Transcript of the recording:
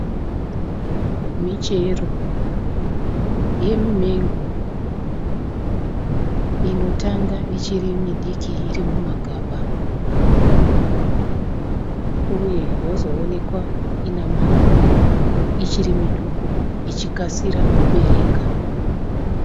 Michero yemimengo inotanga ichiri midiki iri mumagaba uye yozoonekwa ine maruva ichiri midoko ichikasira kubereka.